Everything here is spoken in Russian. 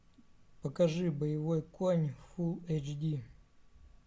покажи боевой конь фулл эйч ди